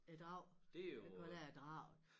Æ Drag det kalder jeg Draget